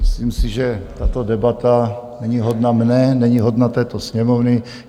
Myslím si, že tato debata není hodna mě, není hodna této Sněmovny.